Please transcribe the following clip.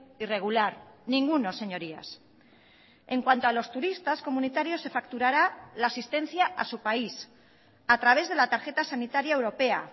irregular ninguno señorías en cuanto a los turistas comunitarios se facturara la asistencia a su país a través de la tarjeta sanitaria europea